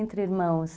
Entre irmãos.